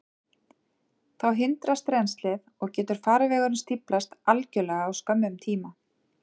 Þá hindrast rennslið, og getur farvegurinn stíflast algjörlega á skömmum tíma.